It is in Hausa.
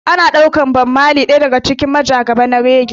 Ana ɗaukar Bob marley ɗaya daga cikin majagaba na reggae.